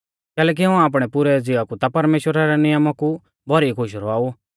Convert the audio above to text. कैलैकि हाऊं आपणै पुरै ज़िवा कु ता परमेश्‍वरा रै नियमा कु भौरी खुश रौआऊ